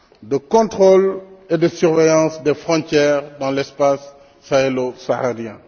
de contrôle et de surveillance des frontières dans l'espace sahélo saharien.